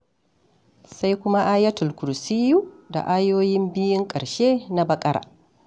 Sai kuma Ayatul Kursiyi da ayoyin biyun ƙarshe na Baƙara.